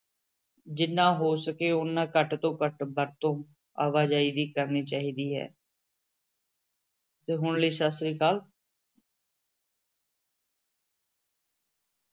ਜਿੰਨਾ ਹੋ ਸਕੇ ਓਨਾ ਘੱਟ ਤੋਂ ਘੱਟ ਵਰਤੋਂ ਆਵਾਜਾਈ ਦੀ ਕਰਨੀ ਚਾਹੀਦੀ ਹੈ ਤੇ ਹੁਣ ਲਈ ਸਤਿ ਸ੍ਰੀ ਅਕਾਲ।